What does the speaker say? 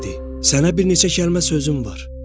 Sənə bir neçə kəlmə sözüm var.